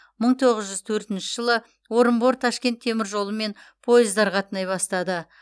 мың тоғыз жүз төртінші жылы орынбор ташкент теміржолымен пойыздар қатынай бастады